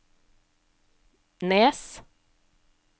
Nes